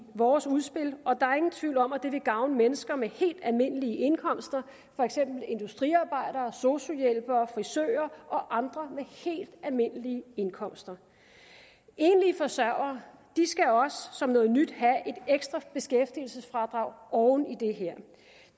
vores udspil og der er ingen tvivl om at det vil gavne mennesker med helt almindelige indkomster for eksempel industriarbejdere sosu hjælpere frisører og andre med helt almindelige indkomster enlige forsørgere skal også som noget nyt have et ekstra beskæftigelsesfradrag oven i det her